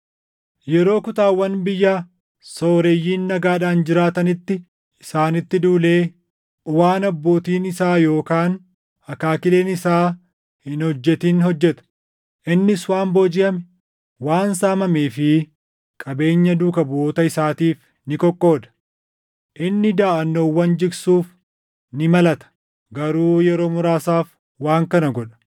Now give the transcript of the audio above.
Yeroo kutaawwan biyya sooreyyiin nagaadhaan jiraatanitti isaanitti duulee waan abbootiin isaa yookaan akaakileen isaa hin hojjetin hojjeta. Innis waan boojiʼame, waan saamamee fi qabeenya duuka buʼoota isaatiif ni qoqqooda. Inni daʼannoowwan jigsuuf ni malata; garuu yeroo muraasaaf waan kana godha.